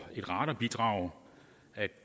et radarbidrag